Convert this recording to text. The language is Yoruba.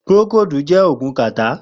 Prókódi jè ógún kàtá